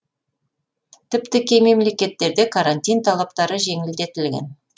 тіпті кей мемлекеттерде карантин талаптары жеңілдетілген